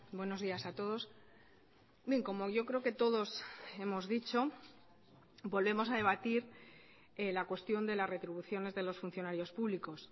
buenos días a todos bien como yo creo que todos hemos dicho volvemos a debatir la cuestión de las retribuciones de los funcionarios públicos